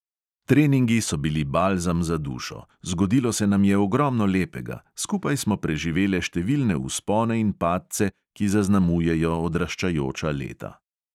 Treningi so bili balzam za dušo, zgodilo se nam je ogromno lepega, skupaj smo preživele številne vzpone in padce, ki zaznamujejo odraščajoča leta.